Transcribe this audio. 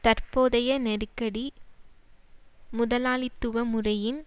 தற்போதைய நெருக்கடி முதலாளித்துவ முறையின்